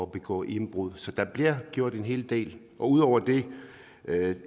begå indbrud så der bliver gjort en hel del ud over det